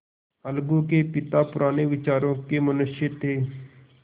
अलगू के पिता पुराने विचारों के मनुष्य थे